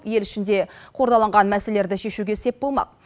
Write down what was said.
ел ішінде қордаланған мәселелерді шешуге сеп болмақ